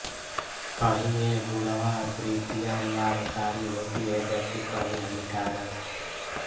कहीं ये गुणावृत्तियाँ लाभकारी होतीं हैं जबकि कहीं हानिकारक